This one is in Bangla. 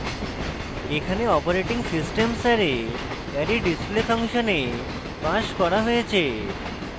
এখানে operating _ systems array array _ display ফাংশনে passed করা হয়েছে